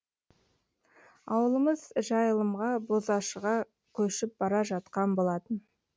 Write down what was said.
ауылымыз жайылымға бозашыға көшіп бара жатқан болатын